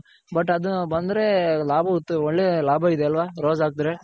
ದು ಬಂದ್ರೆ ಒಳ್ಳೆ ಲಾಭ ಇದೆ ಅಲ್ವ Rose ಹಾಕದ್ರೆ.